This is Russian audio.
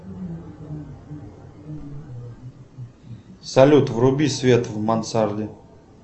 салют вруби свет в мансарде